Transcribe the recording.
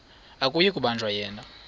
akuyi kubanjwa yena